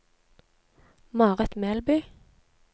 Marit Melby